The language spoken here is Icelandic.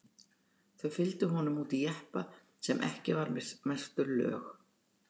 Þau fylgdu honum út í jeppa sem var ekki merktur lög